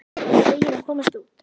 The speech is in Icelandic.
Ég er bara fegin að komast út!